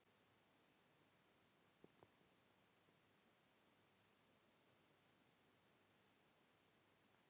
Höskuldur: Ertu í svona kántrítónlist?